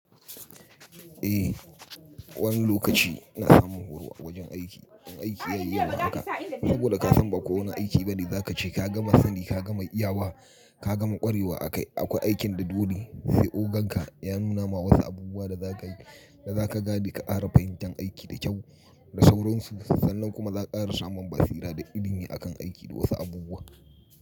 Eh wani lokaci ina samun horo a wajen aiki. In aiki ya iya ma haka saboda ka san ba kowane aiki bane za ka ce ka gama sani, ka gama iya wa, ka gama kwarewa akai. Akwai aikin da dole sai ogan ka ya nuna ma wasu abubuwa da za ka gabe ka ƙara fahimtan aiki da kyau da sauransu. Sannan kuma za ka ƙara samun basira da ilimi akan aiki da wasu abubuwa.